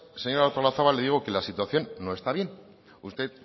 señora artolazabal le digo que la situación no está bien usted